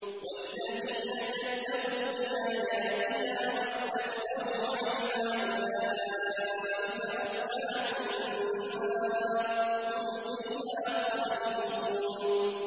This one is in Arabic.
وَالَّذِينَ كَذَّبُوا بِآيَاتِنَا وَاسْتَكْبَرُوا عَنْهَا أُولَٰئِكَ أَصْحَابُ النَّارِ ۖ هُمْ فِيهَا خَالِدُونَ